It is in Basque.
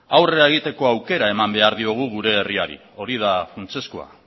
aurrera egiteko aukera eman behar diogu gure herriari hori da funtsezkoa